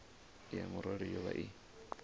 ya murole yo vha i